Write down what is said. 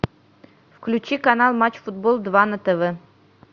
включи канал матч футбол два на тв